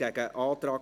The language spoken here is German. – Das will er.